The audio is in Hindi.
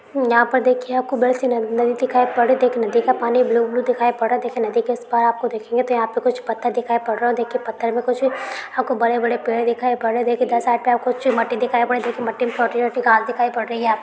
यहां पर देखिए आपको बड़ी सी नदी दिखाई पड़ रही है और देखिये नदी का पानी ब्लू ब्लू दिखाई पड़ रहा है। देखिए नदी के इस पार आप देखेंगे तो यहाँ पे कुछ पत्थर दिखाई पड़ रहे हैं। देखिए पत्थर में कुछ आपको बड़े-बड़े पेड़ दिखाई पड़ रहे हैं। देखिए दसात कुछ मट्टी दिखाई पड़ रही है देखिए मट्टी में छोटी-छोटी घांस दिखाई पड़ी है आप --